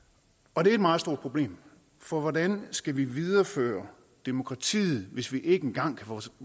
og det er et meget stort problem for hvordan skal vi videreføre demokratiet hvis vi ikke engang